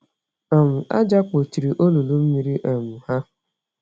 um Àjà kpochiri olulu mmiri um ha.